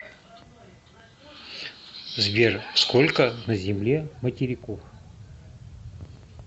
сбер сколько на земле материков